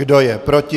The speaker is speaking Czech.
Kdo je proti?